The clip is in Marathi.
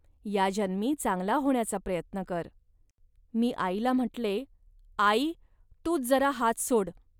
या जन्मी चांगला होण्याचा प्रयत्न कर. .मी आईला म्हटले, "आई, तूच जरा हात सोड